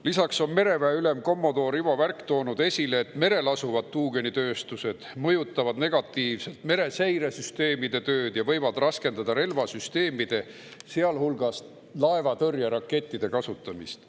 Lisaks on mereväe ülem kommodoor Ivo Värk toonud esile, et merel asuvad tuugenitööstused mõjutavad negatiivselt mereseiresüsteemide tööd ja võivad raskendada relvasüsteemide, sealhulgas laevatõrjerakettide, kasutamist.